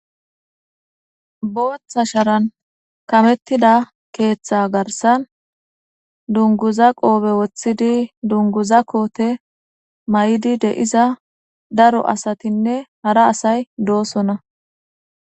booththa sharan kamettida keeththa garsan dunguza qoobe woththidi dunguza koote may7idi de7iza daro asatinne hara asay doosona